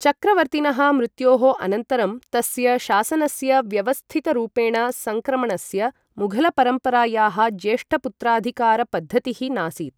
चक्रवर्तिनः मृत्योः अनन्तरं तस्य शासनस्य व्यवस्थितरूपेण सङ्क्रमणस्य, मुघलपरम्परायाः ज्येष्ठपुत्राधिकारपद्धतिः नासीत्।